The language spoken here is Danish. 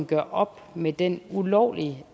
gøre op med den ulovlige